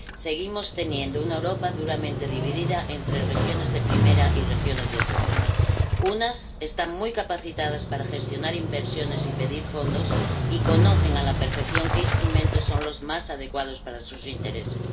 Seguimos teniendo una Europa duramente dividida entre regiones de primera y regiones de segunda unas están muy capacitadas para gestionar inversiones y pedir fondos y conocen a la perfección qué instrumentos son los más adecuados para sus intereses